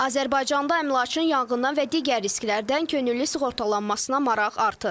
Azərbaycanda əmlakın yanğından və digər risklərdən könüllü sığortalanmasına maraq artır.